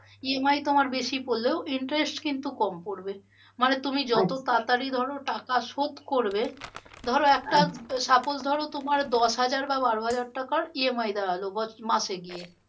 EMI তোমার বেশি পরলেও interest তোমার কম পরবে। মানে তুমি তাড়াতড়ি ধরো টাকা শোধ করবে, ধরো একটা suppose ধরো তোমার দশ হাজার বা বারো হাজার টাকার EMI দেওয়া হলো মাসে গিয়ে